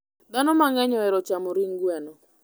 Dhano mang'eny ohero chamo ring gweno.